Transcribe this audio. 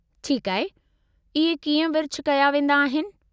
ठीकु आहे, इहे कीअं विर्छ कया वेंदाआहिनि?